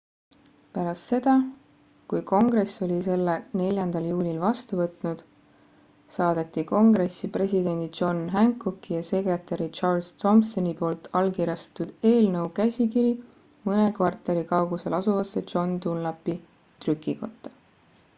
pärast seda kui kongress oli selle 4 juulil vastu võtnud saadeti kongressi presidendi john hancocki ja sekretäri charles thomsoni poolt allkirjastatud eelnõu käsikiri mõne kvartali kaugusel asuvasse john dunlapi trükikotta